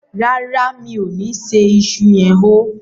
ràrá mi'o ní ṣe iṣu yen hó.